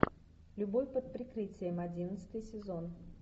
любовь под прикрытием одиннадцатый сезон